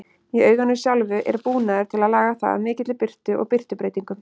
Í auganu sjálfu er búnaður til að laga það að mikilli birtu og birtubreytingum.